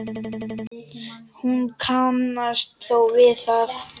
Hún kannast þó við það.